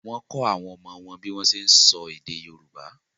Wọ́n kọ́ àwọn ọmọ wọn bí wọ́n ń ṣe ń sọ èdè Yorùbá